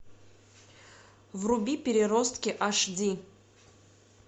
вруби переростки аш ди